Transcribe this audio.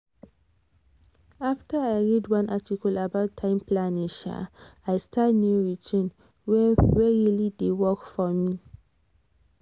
after i read one article about time planning um i start new routine wey wey really dey work for me. um